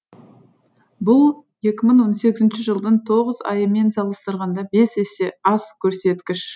бұл екі мың он сегізінші жылдың тоғыз айымен салыстырғанда бес есе аз көрсеткіш